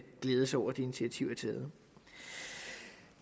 glæde sig over at det initiativ er taget